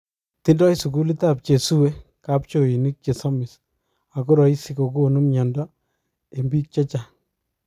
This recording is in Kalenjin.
Tindoi sukulit ap chesuwe kapchoinik chesomis akoraishi kokonu mnyando eng pik chechang.